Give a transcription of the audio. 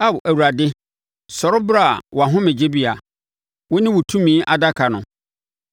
‘Ao Awurade, sɔre bra wʼahomegyebea, wo ne wo tumi Adaka no.